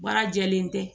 Baara jɛlen tɛ